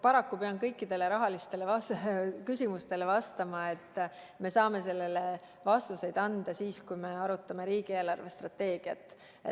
Paraku pean kõikidele rahalistele küsimustele vastama, et me saame vastuseid anda siis, kui me arutame riigi eelarvestrateegiat.